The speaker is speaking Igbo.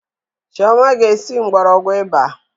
Chioma ga esi mgbọrọgwụ ịba